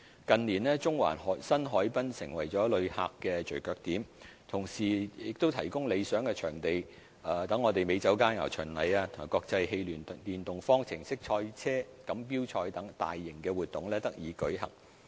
近年，中環新海濱成為了旅客的聚腳點，同時亦提供理想場地，讓美酒佳餚巡禮及國際汽聯電動方程式賽車錦標賽等大型活動得以舉行。